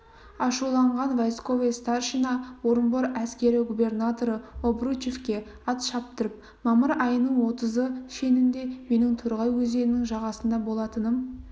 ашуланған войсковой старшина орынбор әскери губернаторы обручевке ат шаптырып мамыр айының отызы шенінде менің торғай өзенінің жағасында болатыным